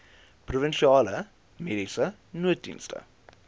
provinsiale mediese nooddienste